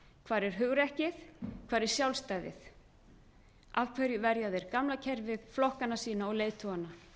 hvar er hugrekkið hvar er sjálfstæðið af hverju verja þeir gamla kerfið flokkana sína og leiðtogana